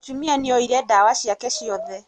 Mūtumia nīoire ndawa ciake ciothe.